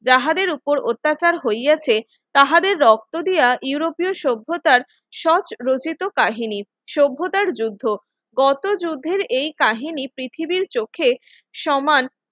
যাহাদের উপর অত্যাচার হইয়াছে তাহাদের রক্ত দিয়া ইউরোপীয় সভ্যতার সহজ রচিত কাহিনী সভ্যতার যুদ্ধ কত যুদ্ধের এই কাহিনী পৃথিবীর চোখে সমান